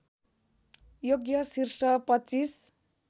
योग्य शीर्ष २५